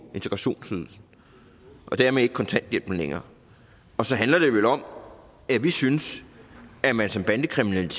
integrationsydelsen og dermed ikke kontanthjælpen længere og så handler det vel om at vi synes at man som bandekriminel